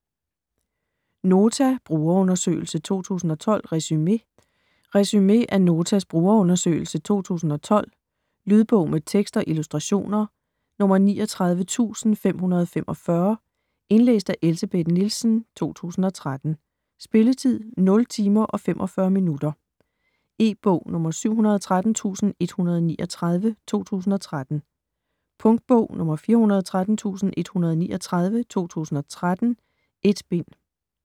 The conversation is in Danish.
Nota - brugerundersøgelse 2012 - resume Resume af Notas brugerundersøgelse 2012. Lydbog med tekst og illustrationer 39545 Indlæst af Elsebeth Nielsen, 2013. Spilletid: 0 timer, 45 minutter. E-bog 713139 2013. Punktbog 413139 2013. 1 bind.